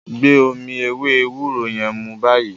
gbé omí ewé ewúro yén mú bayii!